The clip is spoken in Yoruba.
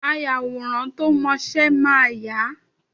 Ayàwòrán tó mọ́ṣẹ máa yà á.